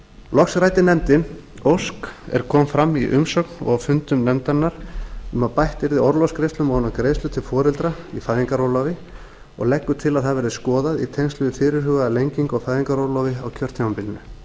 loks ræddi nefndin ósk er kom fram í umsögn og á fundum nefndarinnar um að bætt yrði orlofsgreiðslum ofan á greiðslur til foreldra í fæðingarorlofi og leggur til að það verði skoðað í tengslum við fyrirhugaða lengingu á fæðingarorlofi á kjörtímabilinu